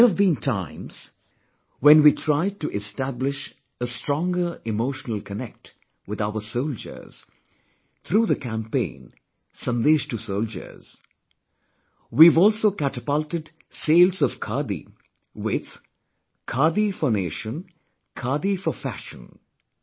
There have been times when we tried to establish a stronger emotional connect with our soldiers through the campaign 'Sandesh to Soldiers'; we have also catapulted sales of Khadi with 'Khadi for Nation Khadi for Fashion'